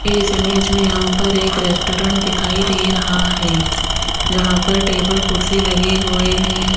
इस इमेज में यहां पर एक रेस्टोरेंट दिखाई दे रहा हैं जहां पर टेबल कुर्सी लगे हुए हैं।